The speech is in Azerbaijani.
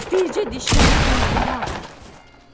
Bircə dişləri, gözləri ağarırdı.